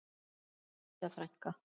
Elsku Didda frænka.